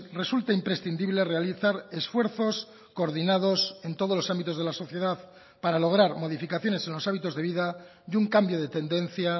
resulta imprescindible realizar esfuerzos coordinados en todos los ámbitos de la sociedad para lograr modificaciones en los hábitos de vida y un cambio de tendencia